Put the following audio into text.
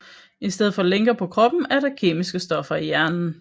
I stedet for lænker på kroppen er der kemiske stoffer i hjernen